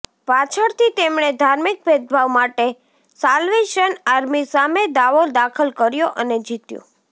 પાછળથી તેમણે ધાર્મિક ભેદભાવ માટે સાલ્વેશન આર્મી સામે દાવો દાખલ કર્યો અને જીત્યો